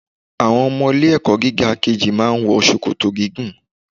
Àwọn ọmọ ilé ẹ̀kọ́ gíga kejì máa ń wọ ṣòkòtò gígùn.